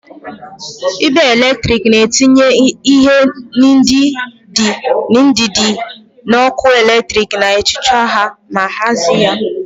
Igbe eletrik na-etinye ihe ndị dị n'ọkụ eletrik, na-echekwa ha ma hazie ya.